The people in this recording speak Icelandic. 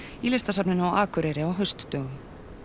í Listasafninu á Akureyri á haustdögum